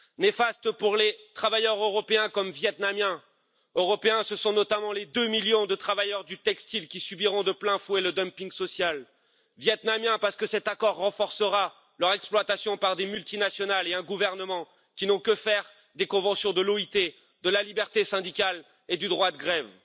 Néfaste pour les travailleurs européens ce sont notamment les deux millions de travailleurs du textile qui subiront de plein fouet le dumping social et vietnamiens parce que cet accord renforcera leur exploitation par des multinationales et un gouvernement qui n'ont que faire des conventions de l'OIT, de la liberté syndicale et du droit de grève.